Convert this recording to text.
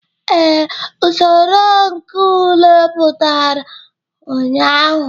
Ee, usoro nke ule pụtara ụnyahụ.